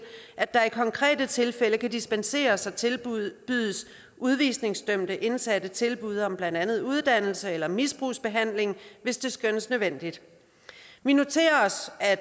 at der i konkrete tilfælde kan dispenseres og tilbydes udvisningsdømte indsatte tilbud om blandt andet uddannelse eller misbrugsbehandling hvis det skønnes nødvendigt vi noterer os at